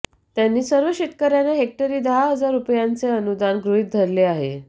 त्यांनी सर्व शेतकऱ्यांना हेक्टरी दहा हजार रुपयांचे अनुदान गृहीत धरले आहे